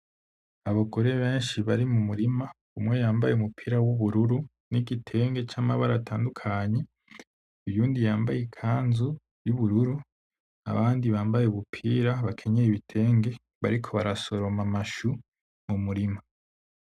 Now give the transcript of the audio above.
Abagore benshi bari mumurima, umwe yambaye umupira w'ubururu n'igitenge c'amabara atandukanye, uyundi yambaye ikanzu y'ubururu, abandi bambaye ubupira bakenyeye ibitenge bariko barasoroma amashu mu murima.